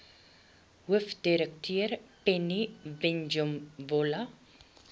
hoofdirekteur penny vinjevold